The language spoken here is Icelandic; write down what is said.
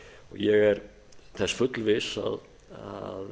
ég er þessi fullviss að